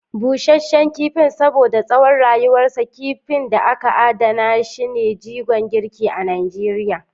Busasshen Kifin: Saboda tsawon rayuwarsa, kifin da aka adana shi ne jigon girki a Najeriya.